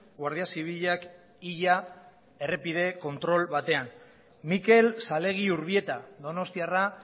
guardia zibilak hila errepide kontrol batean mikel salegi urbieta donostiarra